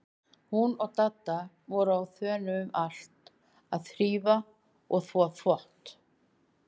Hún og Dadda voru á þönum um allt að þrífa og þvo þvott.